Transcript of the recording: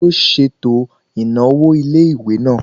Taló ṣètò ìnáwó ilé-ìwé náà?